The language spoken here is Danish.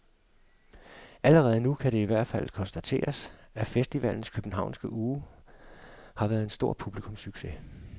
Allerede nu kan det i hvert fald konstateres, at festivalens københavnske uge har været en stor publikumssucces.